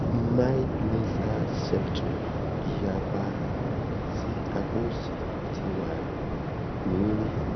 mild nasal septum iyapa si apa osi ti wa ni ri